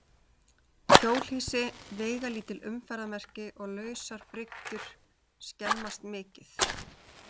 Hjólhýsi, veigalítil umferðarmerki og lausar bryggjur skemmast mikið.